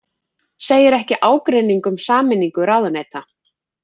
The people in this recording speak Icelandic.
Segir ekki ágreining um sameiningu ráðuneyta